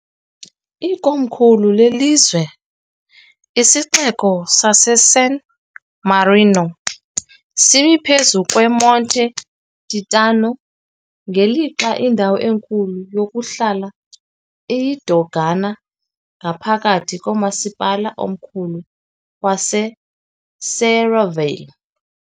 Ikomkhulu lelizwe, isiXeko saseSan Marino, simi phezu kweMonte Titano, ngelixa indawo enkulu yokuhlala iyiDogana ngaphakathi komasipala omkhulu waseSerravalle .